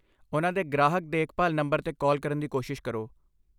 ਉਹਨਾਂ ਦੇ ਗ੍ਰਾਹਕ ਦੇਖਭਾਲ ਨੰਬਰ 'ਤੇ ਕਾਲ ਕਰਨ ਦੀ ਕੋਸ਼ਿਸ਼ ਕਰੋ।